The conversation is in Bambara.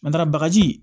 N'an taara bagaji